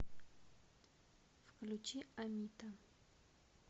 включи амита